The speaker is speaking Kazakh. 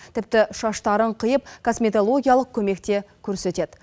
тіпті шаштарын қиып косметологиялық көмек те көрсетеді